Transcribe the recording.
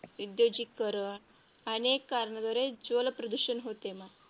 औद्योगिकीकरण अनेक कारणाद्वारे जलप्रदूषण होते मग.